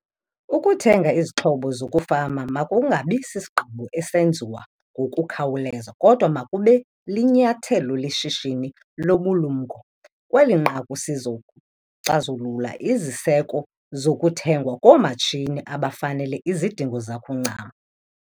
Ukuthenga izixhobo zokufama makungabi sisigqibo esenziwa ngokukhawuleza kodwa makube linyathelo leshishini lobulumko. Kweli nqaku sizocazulula iziseko zokuthengwa koomatshini abafanele izidingo zakho ncam.